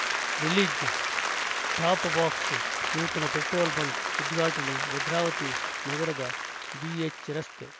release top box ನೂತನ petrol bunk ಉದ್ಘಾಟನೆ ಭದ್ರಾವತಿ ನಗರದ ಬಿಎಚ್‌ ರಸ್ತೆ